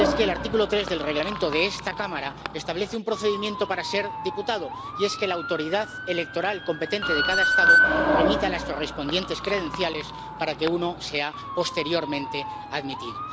Y es que el artículo 3 del Reglamento de esta Cámara establece un procedimiento para ser diputado, y es que la autoridad electoral competente de cada Estado remita las correspondientes credenciales para que uno sea posteriormente admitido.